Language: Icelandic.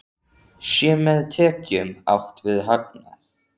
Sé með tekjum átt við hagnað?